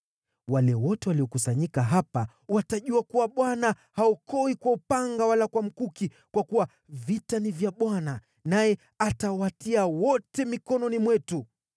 Wale wote waliokusanyika hapa watajua kuwa Bwana haokoi kwa upanga wala kwa mkuki; kwa kuwa vita ni vya Bwana , naye atawatia wote mikononi mwetu.”